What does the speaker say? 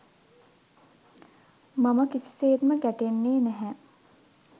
මම කිසි සේත්ම ගැටෙන්නේ නැහැ.